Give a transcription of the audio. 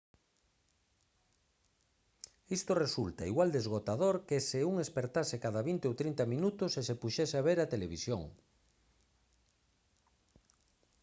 isto resulta igual de esgotador que se un espertase cada vinte ou trinta minutos e se puxese a ver a televisión